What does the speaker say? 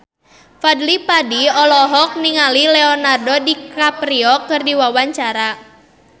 Fadly Padi olohok ningali Leonardo DiCaprio keur diwawancara